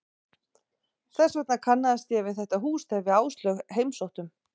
Þess vegna kannaðist ég við þetta hús þegar við Áslaug heimsóttum